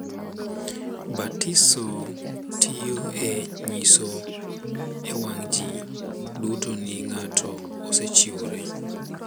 Batiso tiyo e nyiso e wang’ ji duto ni ng’ato osechiwore,